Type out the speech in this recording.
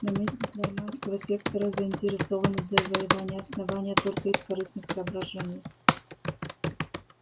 наместник норманского сектора заинтересован в завоевании основания только из корыстных соображений